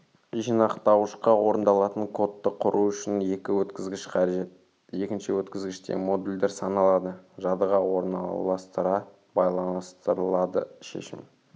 жинақтауышқа орындалатын кодты құру үшін екі өткізгіш қажет екінші өткізгіште модульдер саналады жадыға орналасатыра байланыстырылады шешім